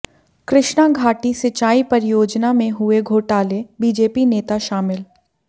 कृष्णा घाटी सिंचाई परियोजना में हुए घोटाले बीजेपी नेता शामिल